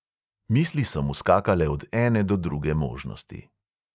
Misli so mu skakale od ene do druge možnosti.